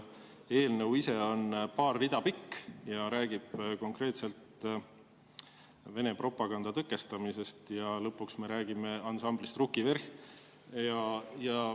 Eelnõu ise on paar rida pikk ja räägib konkreetselt Vene propaganda tõkestamisest, ja lõpuks me räägime ansamblist Ruki Vverh!.